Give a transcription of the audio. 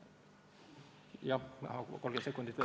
Jah, läheb 30 sekundit veel.